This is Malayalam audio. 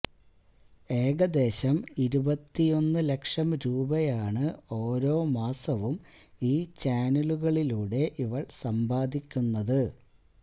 ഏകദേശം ഇരുപത്തിയൊന്നു ലക്ഷം രൂപയാണ് ഓരോ മാസവും ഈ ചാനലുകളിലൂടെ ഇവള് സമ്പാദിക്കുന്നത്